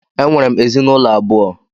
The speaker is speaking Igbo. Enwere m ezinụlọ abụọ.